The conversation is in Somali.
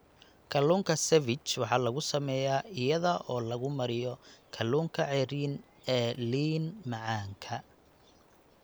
Kalluunka ceviche waxa lagu sameeyaa iyada oo lagu mariyo kalluunka ceeriin ee liin-macaanka.